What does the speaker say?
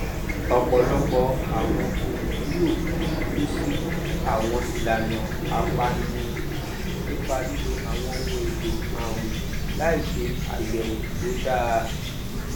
ọpọlọpọ àwọn olùmúlò ti ṣùbù sí àwọn ìlànà àpànìrùn nípa lílo àwọn ohun èlò àwìn láì ṣe ayẹwò tó dáa